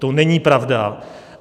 To není pravda.